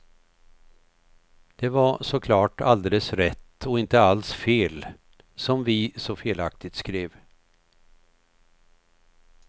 Det var såklart alldeles rätt och inte alls fel, som vi så felaktigt skrev.